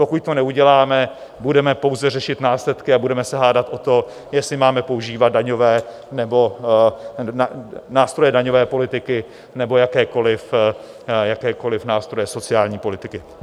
Pokud to neuděláme, budeme pouze řešit následky a budeme se hádat o to, jestli máme používat nástroje daňové politiky nebo jakékoliv nástroje sociální politiky.